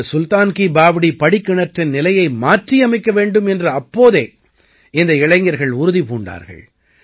இந்த சுல்தான் கீ பாவ்டீ படிக்கிணற்றின் நிலையை மாற்றியமைக்க வேண்டும் என்று அப்போதே இந்த இளைஞர்கள் உறுதி பூண்டார்கள்